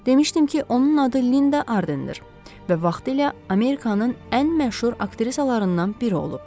Demişdim ki, onun adı Linda Artdendir və vaxtilə Amerikanın ən məşhur aktrisalarından biri olub.